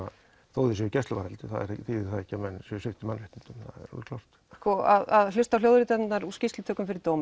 þó þeir séu í gæsluvarðhaldi þýðir það ekki að menn séu sviptir mannréttindum að hlusta á hljóðritanir af skýrslutöku fyrir dómi